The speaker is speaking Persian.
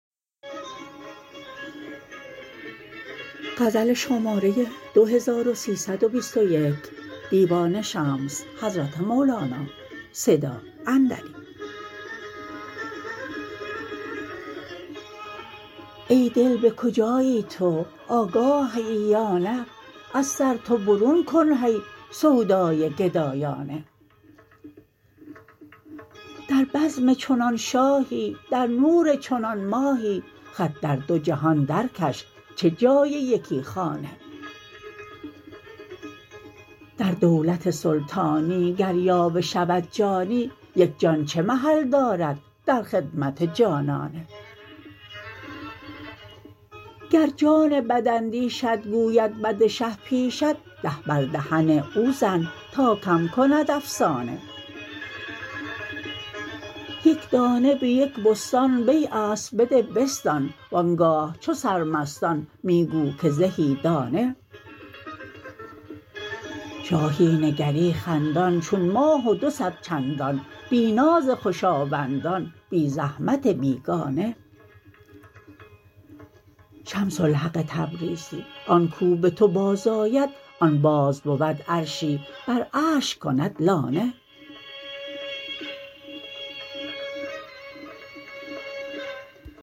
ای دل به کجایی تو آگاه هیی یا نه از سر تو برون کن هی سودای گدایانه در بزم چنان شاهی در نور چنان ماهی خط در دو جهان درکش چه جای یکی خانه در دولت سلطانی گر یاوه شود جانی یک جان چه محل دارد در خدمت جانانه گر جان بداندیشت گوید بد شه پیشت ده بر دهن او زن تا کم کند افسانه یک دانه به یک بستان بیع است بده بستان و آن گاه چو سرمستان می گو که زهی دانه شاهی نگری خندان چون ماه و دو صد چندان بی ناز خوشاوندان بی زحمت بیگانه شمس الحق تبریزی آن کو به تو بازآید آن باز بود عرشی بر عرش کند لانه